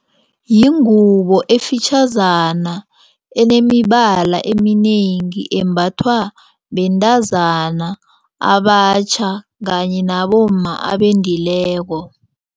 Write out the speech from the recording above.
Yingubo ezifitjhazana enemibala eminengi embathwa bentazana abatjha kanye nabomma abendileko.